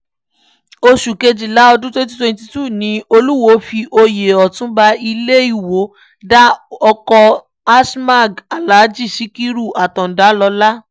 oṣù kejìlá ọdún twenty twenty two ni olùwòo fi oyè ọtúnba ilé ìwọ dá ọkọ̀ asmag alhaji sikiru àtáńdá lọ́lá